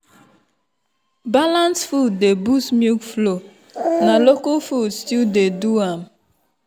balanced food dey boost milk flow na local food still dey do am.